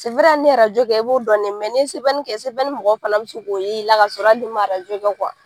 ni arajo kɛ i b'o dɔn n'i ye kɛ mɔgɔw fana bɛ se k'o y'i la ka sɔrɔ hali n'i ma kɛ